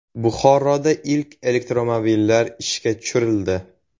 Buxoroda ilk elektromobillar ishga tushirildi.